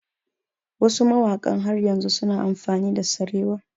Wasu mawaƙan har yanzu su na amfani da sarewa